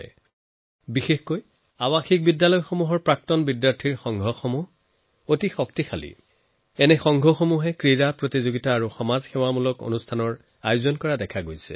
কিছুমান স্কুলত বিশেষকৈ বৰ্ডিং স্কুলৰ এলুমনাই এছচিয়েচন বহুত শক্তিশালী যি স্পৰ্টছ টুৰ্নামেণ্ট আৰু কমিউনিটী ছাৰ্ভিচৰ দৰে গতিবিধিৰ আয়োজন কৰি থাকে